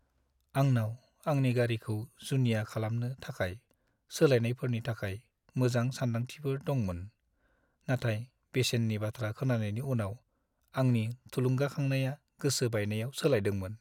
आंनाव आंनि गारिखौ जुनिया खालामनो थाखाय सोलायनायफोरनि थाखाय मोजां सानदांथिफोर दंमोन, नाथाय बेसेननि बाथ्रा खोनानायनि उनाव, आंनि थुलुंगाखांनाया गोसो बायनायाव सोलायदोंमोन।